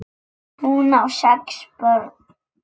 Hún á sex börn.